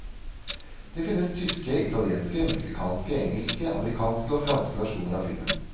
Det finnes tyske, italienske, mexicanske, engelske, amerikanske og franske versjoner av filmen.